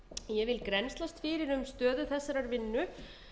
ég vil grennslast fyrir um stöðu þessarar vinnu